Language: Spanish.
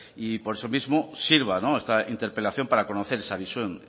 y por eso mismo sirva esta interpelación para conocer esa visión